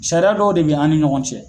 Sariya dɔw de bɛ an ni ɲɔgɔn cɛ.